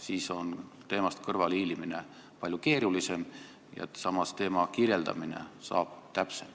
Siis oleks teemast kõrvale hiilida palju keerulisem ja samas oleks teema kirjeldamine täpsem.